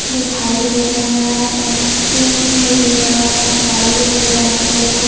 दिखाई दे रहा हैं आइसक्रीम वगैरा गाड़ी वगैरा ऑटो --